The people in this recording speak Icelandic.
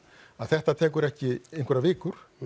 að þetta tekur ekki einhverjar vikur